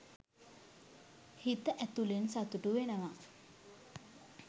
හිත ඇතුලෙන් සතුටු වෙනවා